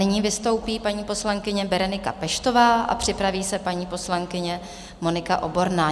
Nyní vystoupí paní poslankyně Berenika Peštová a připraví se paní poslankyně Monika Oborná.